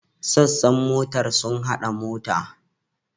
Sassan motar sun hada mota.